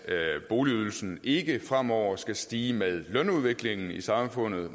at boligydelsen ikke fremover skal stige med lønudviklingen i samfundet